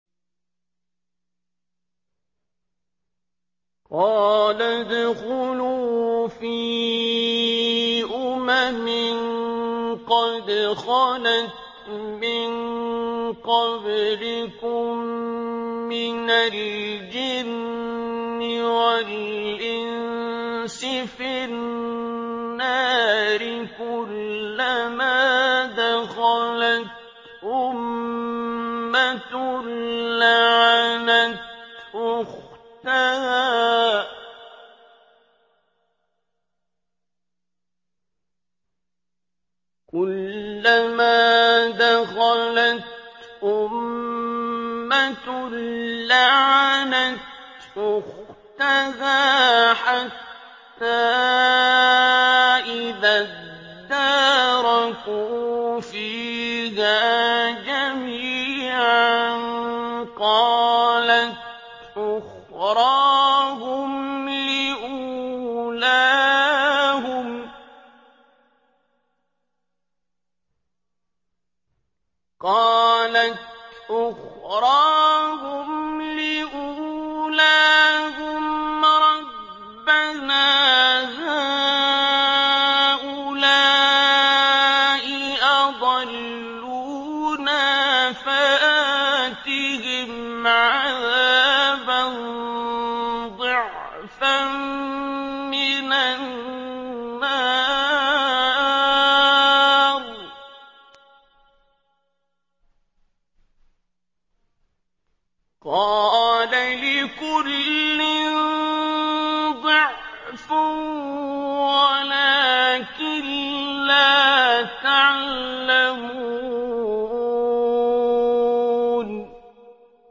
قَالَ ادْخُلُوا فِي أُمَمٍ قَدْ خَلَتْ مِن قَبْلِكُم مِّنَ الْجِنِّ وَالْإِنسِ فِي النَّارِ ۖ كُلَّمَا دَخَلَتْ أُمَّةٌ لَّعَنَتْ أُخْتَهَا ۖ حَتَّىٰ إِذَا ادَّارَكُوا فِيهَا جَمِيعًا قَالَتْ أُخْرَاهُمْ لِأُولَاهُمْ رَبَّنَا هَٰؤُلَاءِ أَضَلُّونَا فَآتِهِمْ عَذَابًا ضِعْفًا مِّنَ النَّارِ ۖ قَالَ لِكُلٍّ ضِعْفٌ وَلَٰكِن لَّا تَعْلَمُونَ